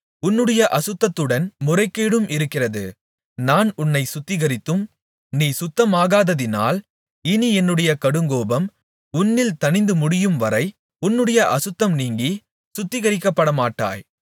உன்னுடைய அசுத்தத்துடன் முறைகேடும் இருக்கிறது நான் உன்னைச் சுத்திகரித்தும் நீ சுத்தமாகாததினால் இனி என்னுடைய கடுங்கோபம் உன்னில் தணிந்துமுடியும் வரை உன்னுடைய அசுத்தம் நீங்கிச் சுத்திகரிக்கப்படமாட்டாய்